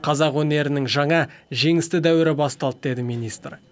қазақ өнерінің жаңа жеңісті дәуірі басталды деді министр